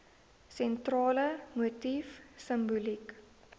sentrale motief simboliek